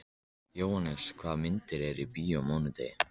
Jóhannes, hvaða myndir eru í bíó á mánudaginn?